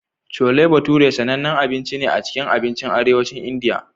Chole bhature sanannen abinci ne a cikin abincin Arewacin Indiya.